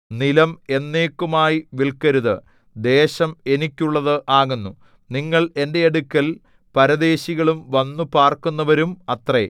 നിലം എന്നേക്കുമായി വില്‍ക്കരുത് ദേശം എനിക്കുള്ളത് ആകുന്നു നിങ്ങൾ എന്റെ അടുക്കൽ പരദേശികളും വന്നു പാർക്കുന്നവരും അത്രേ